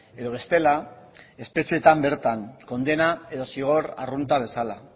edo bestela espetxeetan bertan kondena edo zigor arrunta bezala